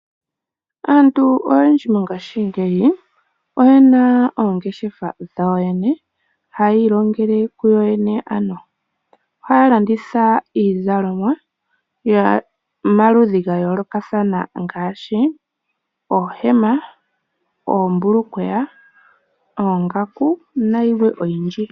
Aantu oyendji mongaashi ngeyi oyena oongeshefa dhawo yoyene hayi ilongele kuyoyene. Ohaya landitha iizalomwa yomaludhi ga yoolokathana ngaashi oohema, oombulukweya, oongaku nayilwe oyindji.